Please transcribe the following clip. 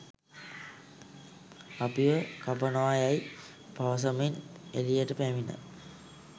අපිව කපනවා යැයි පවසමින් එළියට පැමිණ